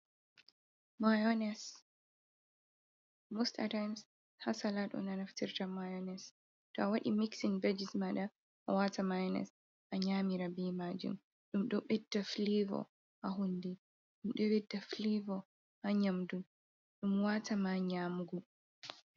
Mayonis mos a taayin haa salad on ɓe naftirta miyonis to a waɗi mixin be jes maaɗa a waata miyonis a nyamira bee maajum ɗum ɗo bedda fileevo haa hunnduko, ɗum ɗo ɓedda fileevo haa nyaamugo, ɗum waata ma nyaamugo.